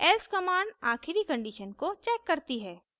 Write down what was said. else command आखिरी condition को checks करती है